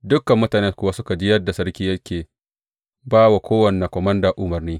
Dukan mutane kuwa suka ji yadda sarki yake ba wa kowane komanda umarni.